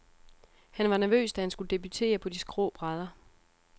Han var nervøs, da han skulle debutere på de skrå brædder.